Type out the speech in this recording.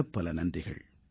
பலப்பல நன்றிகள்